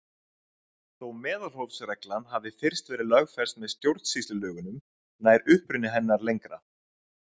Þó meðalhófsreglan hafi fyrst verið lögfest með stjórnsýslulögunum nær uppruni hennar lengra.